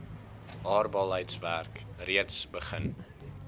haalbaarheidswerk reeds begin